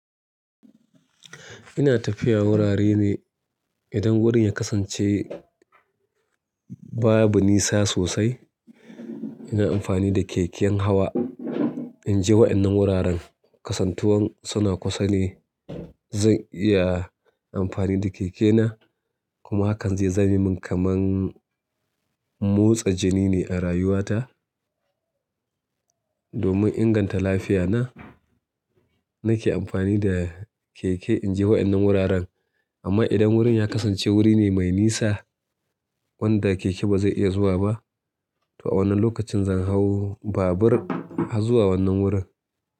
Ina tafiya wurare ne. Idan wurin ya kasance babu nisa sosai, ina amfani da keken hawa in je wa'ƴannan wuraren. Kasantuwan suna kusa ne. Zan iya amfani da keke na kuma hakan zai zame min kaman motsa jini ne a rayuwata domin inganta lafiyana, nake amfani da keke in je wa'ƴannan wuraren. Amma idan wurin ya kasance wuri ne mai nisa wanda keke ba zai iya zuwa ba, to a wannan lokacin zan hau babur har zuwa wannan wurin.